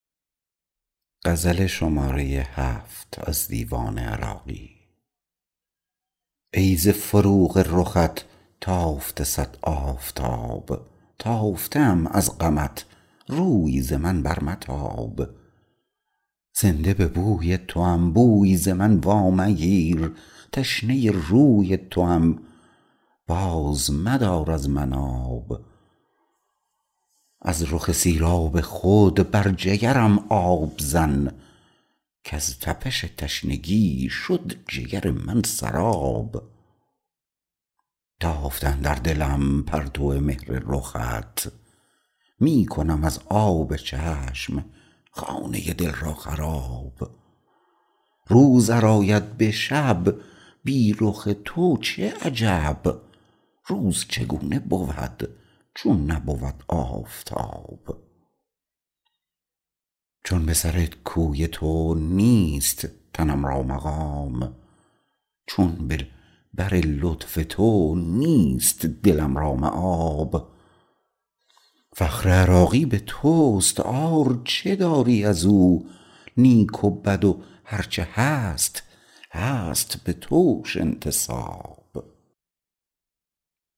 ای ز فروغ رخت تافته صد آفتاب تافته ام از غمت روی ز من بر متاب زنده به بوی توام بوی ز من وامگیر تشنه روی توام باز مدار از من آب از رخ سیراب خود بر جگرم آب زن کز تپش تشنگی شد جگر من سراب تافته اندر دلم پرتو مهر رخت می کنم از آب چشم خانه دل را خراب روز ار آید به شب بی رخ تو چه عجب روز چگونه بود چون نبود آفتاب چون به سر کوی تو نیست تنم را مقام چون به بر لطف تو نیست دلم را مآب فخر عراقی به توست عار چه داری ازو نیک و بد و هرچه هست هست بتوش انتساب